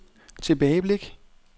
tilbageblik